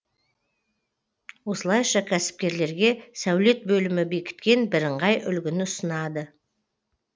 осылайша кәсіпкерлерге сәулет бөлімі бекіткен бірыңғай үлгіні ұсынады